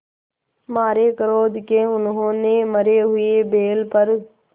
मारे क्रोध के उन्होंने मरे हुए बैल पर